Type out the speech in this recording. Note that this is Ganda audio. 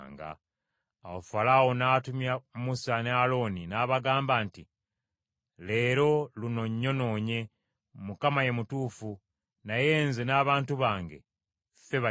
Awo Falaawo n’atumya Musa ne Alooni, n’abagamba nti, “Leero luno nnyonoonye; Mukama ye mutuufu, naye nze n’abantu bange ffe bakyamu.